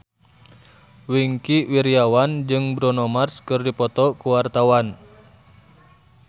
Wingky Wiryawan jeung Bruno Mars keur dipoto ku wartawan